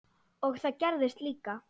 Og það gerðist líka.